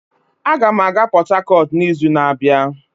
Aga m aga Port Harcourt n'izu na-abịa